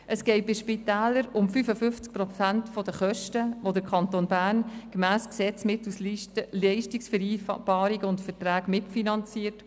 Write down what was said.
Es geht bei den Spitälern um 55 Prozent der Kosten, die der Kanton Bern mittels Leistungsvereinbarungen und Verträgen mitfinanziert.